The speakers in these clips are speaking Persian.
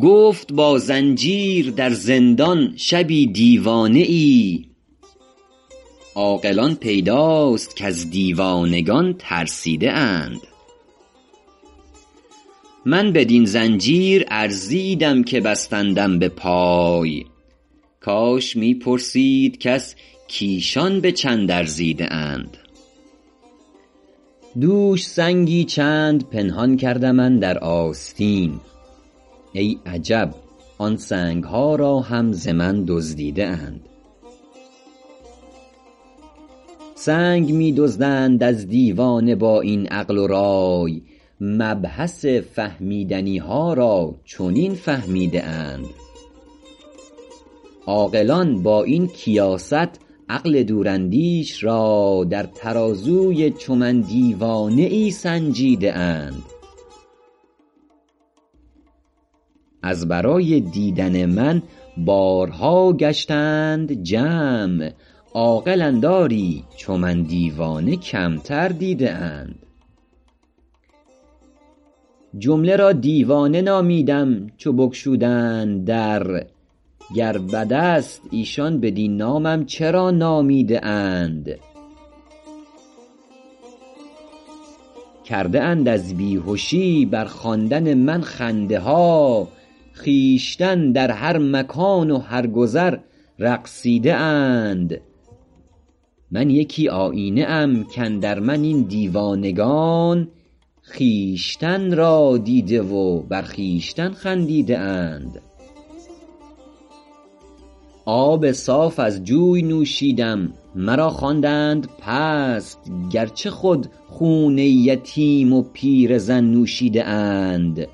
گفت با زنجیر در زندان شبی دیوانه ای عاقلان پیداست کز دیوانگان ترسیده اند من بدین زنجیر ارزیدم که بستندم به پای کاش می پرسید کس کایشان به چند ارزیده اند دوش سنگی چند پنهان کردم اندر آستین ای عجب آن سنگ ها را هم ز من دزدیده اند سنگ می دزدند از دیوانه با این عقل و رای مبحث فهمیدنی ها را چنین فهمیده اند عاقلان با این کیاست عقل دوراندیش را در ترازوی چو من دیوانه ای سنجیده اند از برای دیدن من بارها گشتند جمع عاقلند آری چو من دیوانه کمتر دیده اند جمله را دیوانه نامیدم چو بگشودند در گر بدست ایشان بدین نامم چرا نامیده اند کرده اند از بیهشی بر خواندن من خنده ها خویشتن در هر مکان و هر گذر رقصیده اند من یکی آیینه ام کاندر من این دیوانگان خویشتن را دیده و بر خویشتن خندیده اند آب صاف از جوی نوشیدم مرا خواندند پست گرچه خود خون یتیم و پیرزن نوشیده اند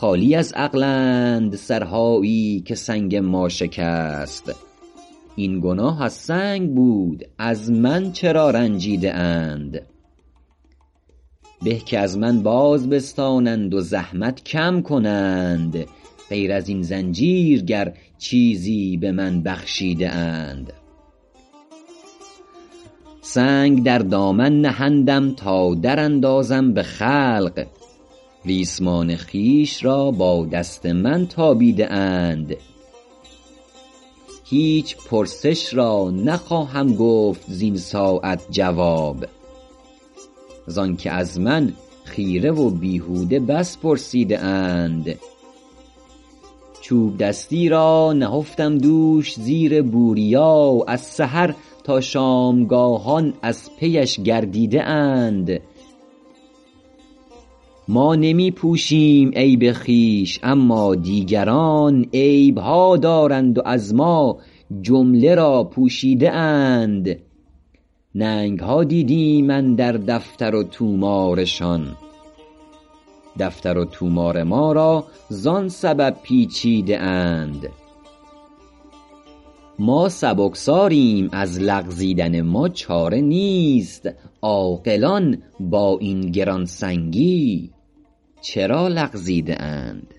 خالی از عقلند سرهایی که سنگ ما شکست این گناه از سنگ بود از من چرا رنجیده اند به که از من باز بستانند و زحمت کم کنند غیر ازین زنجیر گر چیزی به من بخشیده اند سنگ در دامن نهندم تا در اندازم به خلق ریسمان خویش را با دست من تابیده اند هیچ پرسش را نخواهم گفت زین ساعت جواب زان که از من خیره و بیهوده بس پرسیده اند چوب دستی را نهفتم دوش زیر بوریا از سحر تا شامگاهان از پیش گردیده اند ما نمی پوشیم عیب خویش اما دیگران عیب ها دارند و از ما جمله را پوشیده اند ننگ ها دیدیم اندر دفتر و طومارشان دفتر و طومار ما را زان سبب پیچیده اند ما سبکساریم از لغزیدن ما چاره نیست عاقلان با این گرانسنگی چرا لغزیده اند